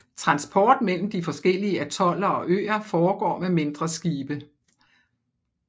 Transport mellem de forskellige atoller og øer foregår med mindre skibe